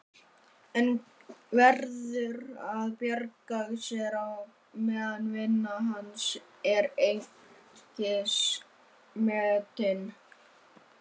En hann verður að bjarga sér á meðan vinna hans er einskis metin.